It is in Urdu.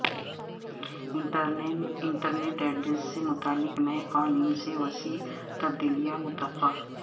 انٹرنیٹ ایڈریس سے متعلق نئے قوانین سے وسیع تبدیلیاں متوقع